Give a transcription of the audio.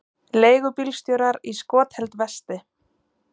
Leigubílstjórar í skotheld vesti